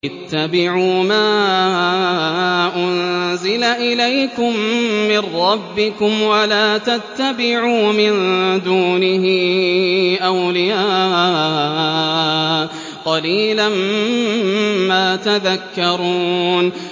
اتَّبِعُوا مَا أُنزِلَ إِلَيْكُم مِّن رَّبِّكُمْ وَلَا تَتَّبِعُوا مِن دُونِهِ أَوْلِيَاءَ ۗ قَلِيلًا مَّا تَذَكَّرُونَ